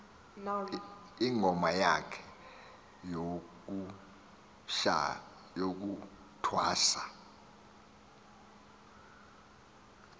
ingoma yakhe yokuthwasa